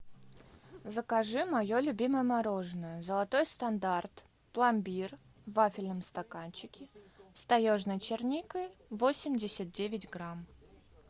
закажи мое любимое мороженое золотой стандарт пломбир в вафельном стаканчике с таежной черникой восемьдесят девять грамм